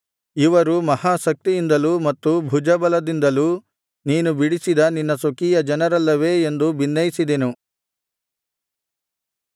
ಇವರು ಮಹಾಶಕ್ತಿಯಿಂದಲೂ ಮತ್ತು ಭುಜಬಲದಿಂದಲೂ ನೀನು ಬಿಡಿಸಿದ ನಿನ್ನ ಸ್ವಕೀಯ ಜನರಲ್ಲವೇ ಎಂದು ಬಿನ್ನೈಸಿದೆನು